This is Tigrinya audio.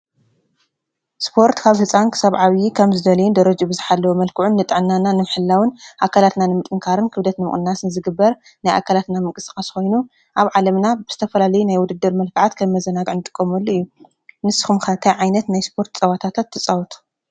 ስፖርት ካብ ሕፃን ክሳብ ዓብዪ ከም ዝደለይን ደረጅ ብዝሓለወ መልክዑን ጥዕናና ንምሕላውን ኣከላትና ንምጥንካርን ክብደት ምቕንናስን ዝግበር ናይ ኣከላትና ምንቅስቐስ ኾይኑ፣ ኣብ ዓለምና ብዝተፈላለይ ናይ ውድድር መልከዓት ከም መዘናግዒ ንጥቆምሉ እዩ። ንስኹም ከ ታይ ዓይነት ናይ ስፖርት ፀዋታትት ትፃወቱ?